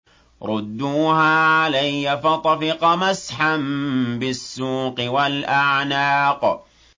رُدُّوهَا عَلَيَّ ۖ فَطَفِقَ مَسْحًا بِالسُّوقِ وَالْأَعْنَاقِ